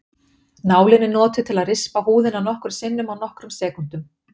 Nálin er notuð til að rispa húðina nokkrum sinnum á nokkrum sekúndum.